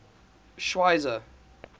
schweizer